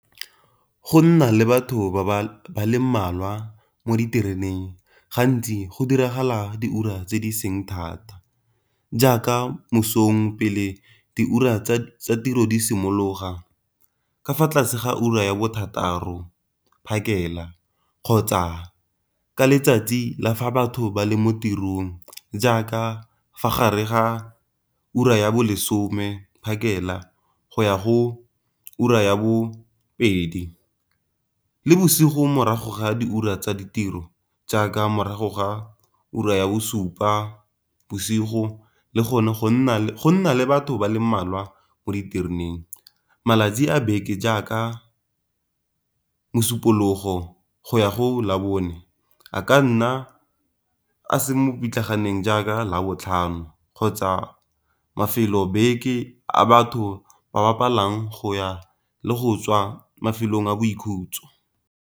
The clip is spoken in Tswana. Go nna le batho ba le mmalwa mo ditereneng gantsi go diragala diura tse di seng thata, jaaka mosong pele diura tsa tiro di simologa, ka fa tlase ga ura ya bo thataro phakela kgotsa ka letsatsi la fa batho ba le mo tirong jaaka fa gare ga ura ya bo lesome phakela go ya go ura ya bo pedi. Le bosigo morago ga diura tsa ditiro jaaka morago ga ura ya bosupa bosigo le go nna le batho ba le mmalwa mo ditereneng. Malatsi a beke jaaka mosupologo go ya go la bone, a ka nna a seng mo pitlaganeng jaaka labotlhano kgotsa mafelo a beke a batho ba ba palang go ya le go tswa mafelong a boikhutso.